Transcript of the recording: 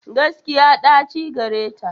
Gaskiya, ɗaci gareta.